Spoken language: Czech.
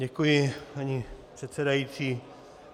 Děkuji, paní předsedajíc.